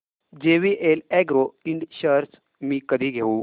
JVL agro Ind shares मी कधी घेऊ